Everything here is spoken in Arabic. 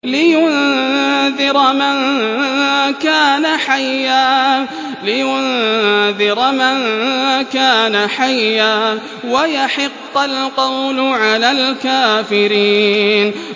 لِّيُنذِرَ مَن كَانَ حَيًّا وَيَحِقَّ الْقَوْلُ عَلَى الْكَافِرِينَ